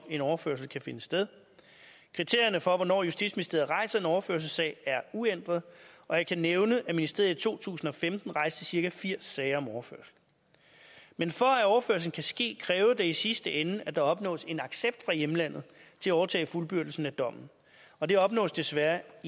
en overførsel kan finde sted kriterierne for hvornår justitsministeriet rejser en overførselssag er uændrede og jeg kan nævne at ministeriet i to tusind og femten rejste cirka firs sager om overførsel men for at overførslen kan ske kræver det i sidste ende at der opnås en accept fra hjemlandet til at overtage fuldbyrdelsen af dommen og det opnås desværre